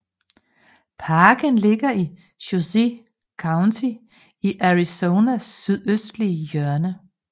Parken ligger i Cochise County i Arizonas sydøstlige hjørne